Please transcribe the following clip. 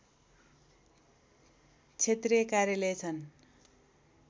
क्षेत्रीय कार्यालय छन्